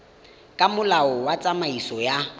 ka molao wa tsamaiso ya